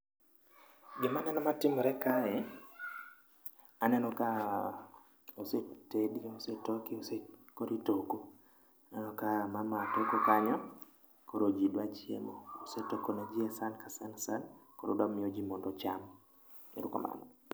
Gima aneno matimore kae, aneno ka osetedi osetoki koro itoko. Aneno ka mama toko kanyo, koro ji dwa chiemo. Osetoko neji esan ka san san ka san koro odwa miyoji mondo ocham. Erokamano.